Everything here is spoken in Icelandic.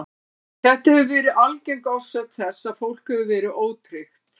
Þetta hefur verið algeng orsök þess að fólk hefur verið ótryggt.